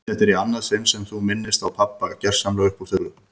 Þetta er í annað sinn sem þú minnist á pabba gersamlega upp úr þurru.